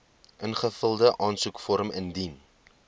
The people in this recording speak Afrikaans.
ingevulde aansoekvorm indien